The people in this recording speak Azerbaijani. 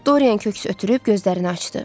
Dorian köks ötürüb gözlərini açdı.